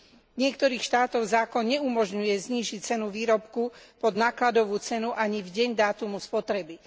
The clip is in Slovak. V niektorých štátoch zákon naumožňuje znížiť cenu výrobku pod nákladovú cenu ani v deň dátumu spotreby.